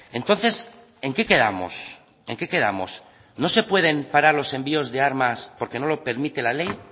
entonces en qué quedamos en qué quedamos no se pueden parar los envíos de armas porque no lo permite la ley